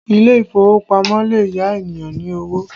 Ile ìfowópamọ́ lè yá ènìyàn ní owó